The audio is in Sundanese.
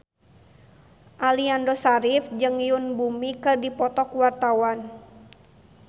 Aliando Syarif jeung Yoon Bomi keur dipoto ku wartawan